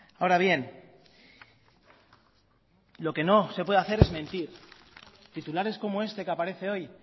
ahora bien lo que no se puede hacer es mentir titulares como este que aparece hoy